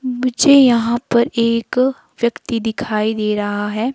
पीछे यहां पर एक व्यक्ति दिखाई दे रहा है।